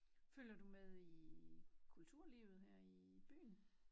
Følger du med i kulturlivet her i byen